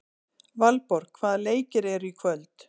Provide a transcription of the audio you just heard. Valborg, hvaða leikir eru í kvöld?